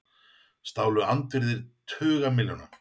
Stálu andvirði tuga milljóna